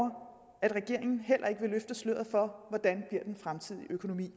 at regeringen heller ikke vil løfte sløret for hvordan den fremtidige økonomi